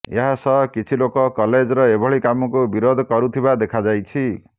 ଏହା ସହ କିଛି ଲୋକ କଲେଜର ଏଭଳି କାମକୁ ବିରୋଧ କରୁଥିବା ଦେଖାଯାଇଛି